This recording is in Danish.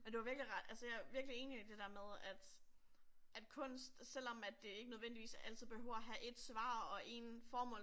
Ja du har virkelig ret altså jeg er virkelig enig i det der med, at at kunst selvom at det ikke nødvendigvis altid behøver at have et svar og en formål